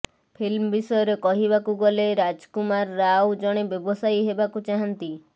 film ବିଷୟରେ କହିବାକୁ ଗଲେ ରାଜମୁାର ରାଓ ଜଣେ ବ୍ୟବସାୟୀ ହେବାକୁ ଚାହଁନ୍ତି